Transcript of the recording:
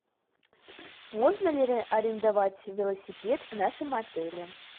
можно ли арендовать велосипед в нашем отеле